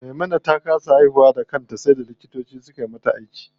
Maimuna ta kasa haihuwa da kanta sai da likitoci suka mata aiki.